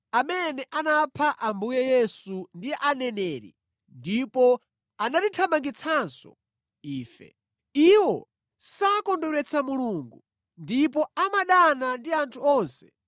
amene anapha Ambuye Yesu ndi aneneri ndipo anatithamangitsanso ife. Iwo sakondweretsa Mulungu ndipo amadana ndi anthu onse